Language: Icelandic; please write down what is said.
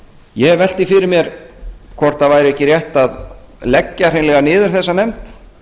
ég hef velt því fyrir mér hvort það væri ekki rétt að leggja hreinlega niður þessa nefnd